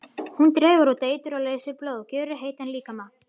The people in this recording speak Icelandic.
Hún dregur út eitur og leysir blóð, gjörir heitan líkama.